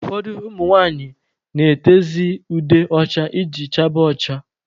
Ụfọdụ ụmụ nwanyị na-etezị ude ọcha iji chaba ọcha.